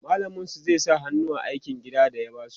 mallamin su zai sa hannu a aikin gida da ya basu